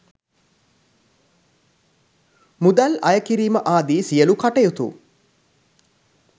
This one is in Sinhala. මුදල් අය කිරීම ආදී සියලූ කටයුතු